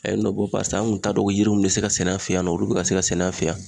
A ye nɔ bɔ barisa an kun t'a dɔn ko yiri min be se ka sɛnɛ an fe yan nɔ olu be ka se ka sɛnɛ an fe yan